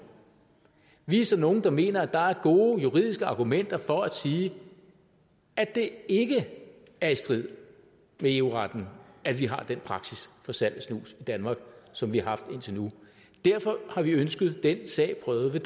vi er så nogle der mener at der er gode juridiske argumenter for at sige at det ikke er i strid med eu retten at vi har den praksis for salg af snus i danmark som vi har haft indtil nu derfor har vi ønsket den sag prøvet ved